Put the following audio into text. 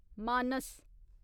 मानस